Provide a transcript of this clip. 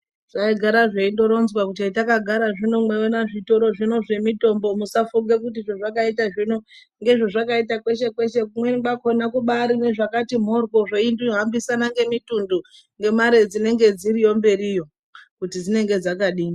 Zvaigara zveindoronzwa kuti hetakagara zvino mweiwona zvitoro zvino zvemitombo musafunge kuti zvazvakaita zvino ngezvezvakaita kweshe kweshe kumweni kwakona kubaari nezvakati mhorwo zvehambisana ngemitundu ngemare dzinenge dziriyo mberiyo kuti dzinenge dzakadini